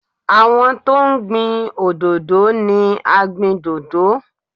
Àwọn tó ń gbin òdòdó ni agbìndòdó.